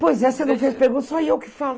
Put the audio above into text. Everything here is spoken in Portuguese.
Pois é, você não fez pergunta, só eu que falo.